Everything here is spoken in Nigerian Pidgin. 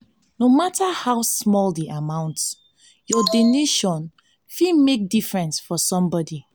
no matter how small the amount your donation fit make difference for somebody.